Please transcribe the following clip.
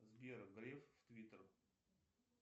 сбер греф в твиттер